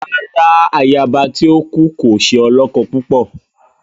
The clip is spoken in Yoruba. Rárá, àyaba tí o kú kò ṣe olókó púpọ